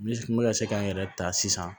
n bɛ ka se ka n yɛrɛ ta sisan